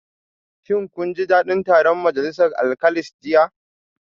Shin kun ji dadin taron majalisa alkalis jiya?